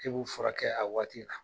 K'e b'u furakɛ a waati la.